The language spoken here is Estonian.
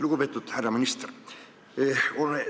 Lugupeetud härra minister!